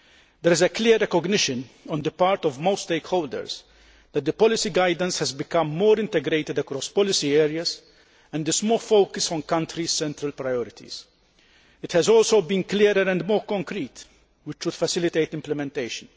There is a clear recognition on the part of most stakeholders that the policy guidance has become more integrated across policy areas and is more focused on countries' central priorities. It has also been clearer and more concrete, which should facilitate implementation.